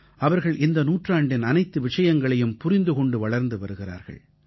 அவர்கள் இந்த நூற்றாண்டின் அனைத்து விஷயங்களையும் புரிந்து கொண்டு வளர்ந்து வருகிறார்கள்